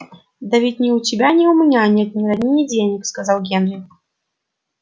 да ведь ни у тебя ни у меня нет ни родни ни денег сказал генри